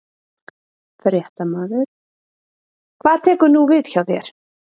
Fréttamaður: Hvað tekur nú við hjá þér?